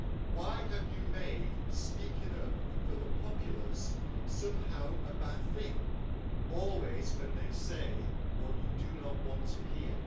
Why have you made speaking up for the populace somehow a bad thing, always when they say what you do not want to hear?